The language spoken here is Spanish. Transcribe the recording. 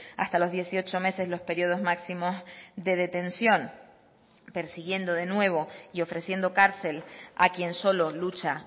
hasta los dieciocho meses los periodos máximos de detención persiguiendo de nuevo y ofreciendo cárcel a quien solo lucha